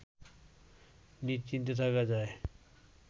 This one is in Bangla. নিশ্চিন্তে থাকা যায়